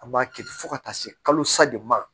An b'a kɛ ten fo ka taa se kalosa de ma